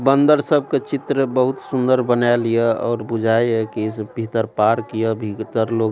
बन्दर सब के चित्र बहुत सुन्दर बनैल हिय और बुझाय है की इस भीतर पार्क हिय भीतर लोग --